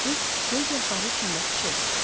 Qız göz yaşları içində pıçıldadı.